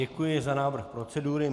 Děkuji za návrh procedury.